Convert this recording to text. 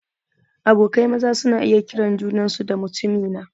Abokai maza suna iya kiran junansu da "mutumina"